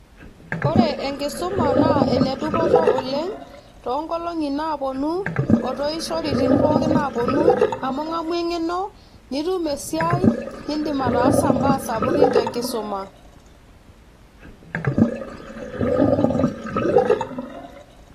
Ore enkisuma naa enedupoto oleng too nkolongi naaponu ,otooishoritin pookin naapuonu amu ingamu engeno ,nitum esiai ,nindim ataasa mbaa sapukin te enkisuma .